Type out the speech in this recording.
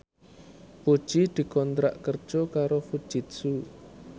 Puji dikontrak kerja karo Fujitsu